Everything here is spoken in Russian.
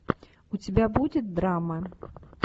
у тебя будет драма